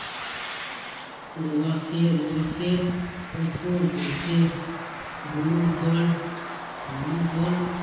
রোয়াকে রোয়াকের উপর বসে বুড়ো্র দল বুড়ো দল